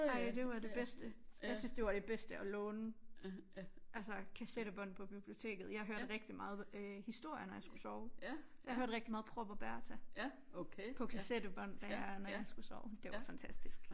Ej det var det bedste jeg synes det var det bedste at låne altså kassettebånd på biblioteket jeg hørte rigtig meget øh historier når jeg skulle sove så jeg hørte rigtig meget Prop og Berta på kassettebånd der når jeg skulle sove det var fantastisk